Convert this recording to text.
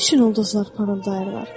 Nə üçün ulduzlar parıldayırlar?